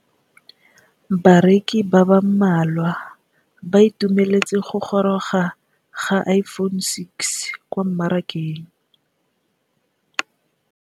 Bareki ba ba malwa ba ituemeletse go gôrôga ga Iphone6 kwa mmarakeng.